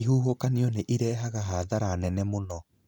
Ihuhũkanio nĩ irehaga hathara nene mũno.